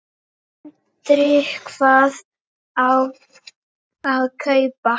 Sindri: Hvað á að kaupa?